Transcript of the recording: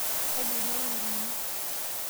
kaji eingua ngutunyi?